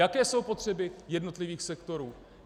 Jaké jsou potřeby jednotlivých sektorů.